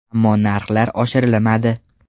Ammo narxlar oshirilmadi.